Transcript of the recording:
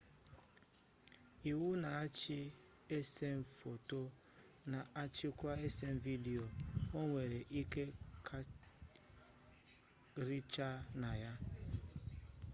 iwu na-achị esem foto na-achịkwa esem vidiyo onwere ike karịchaa na ya